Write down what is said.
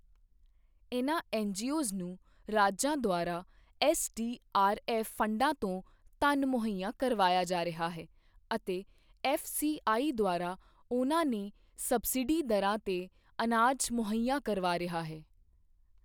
ਇਨ੍ਹਾਂ ਐੱਨਜੀਓਜ਼ ਨੂੰ ਰਾਜਾਂ ਦੁਆਰਾ ਐੱਸਡੀਆਰਐੱਫ ਫੰਡਾਂ ਤੋਂ ਧਨ ਮੁਹੱਇਆ ਕਰਵਾਇਆ ਜਾ ਰਿਹਾ ਹੈ ਅਤੇ ਐੱਫਸੀਆਈ ਦੁਆਰਾ ਉਨ੍ਹਾਂ ਨੇ ਸਬਸਿਡੀ ਦਰਾਂ ਤੇ ਅਨਾਜ ਮੁਹੱਈਆ ਕਰਵਾ ਰਿਹਾ ਹੈ।